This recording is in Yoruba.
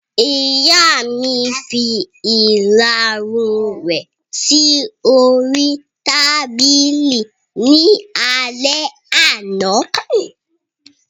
Ìyá mi fi ìlarun rẹ̀ sí oríi tábìlì ní alẹ́ àná